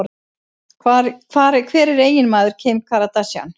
Hver er eiginmaður Kim Kardashian?